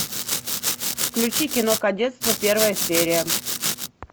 включи кино кадетство первая серия